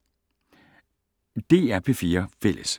DR P4 Fælles